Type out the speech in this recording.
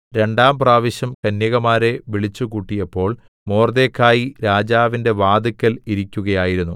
രണ്ടാം പ്രാവശ്യം കന്യകമാരെ വിളിച്ചുകൂട്ടിയപ്പോൾ മൊർദെഖായി രാജാവിന്റെ വാതില്ക്കൽ ഇരിക്കുകയായിരുന്നു